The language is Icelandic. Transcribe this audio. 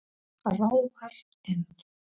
Ráfar inn.